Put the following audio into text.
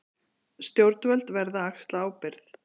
Stjórnvöld verða að axla ábyrgð